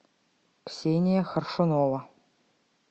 ксения хоршунова